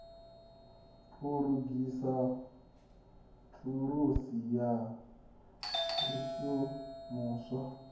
u lugisa thulusi na zwishumuswa